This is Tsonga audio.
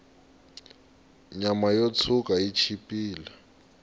nyama yo tshwuka yi chipile